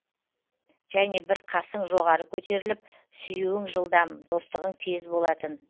және бір қасың жоғары көтеріліп сүюің жылдам достығың тез болатын